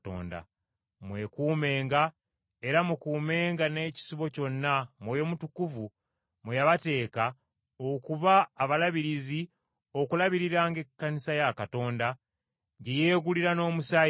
Mwekumenga era mukuumenga n’ekisibo kyonna Mwoyo Mutukuvu mwe yabateeka okuba abalabirizi okulabiriranga Ekkanisa ya Katonda gye yeegulira n’omusaayi gwe.